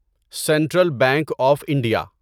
central bank of India